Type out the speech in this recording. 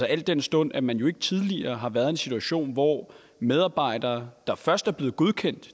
al den stund at man jo ikke tidligere har været i en situation hvor medarbejdere der først er blevet godkendt